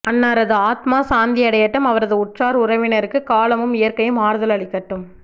அன்னாரது ஆத்மா சாந்தி அடையட்டும் அவரது உற்றார் உறவினருக்கு காலமும் இயற்கையும் ஆறுதல் அளிக்கட்டும்